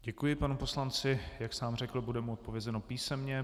Děkuji panu poslanci, jak sám řekl, bude mu odpovězeno písemně.